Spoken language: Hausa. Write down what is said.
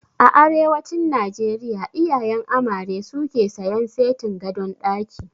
A arewacin Najeriya iyayen amare suke sayan setin gadon ɗaki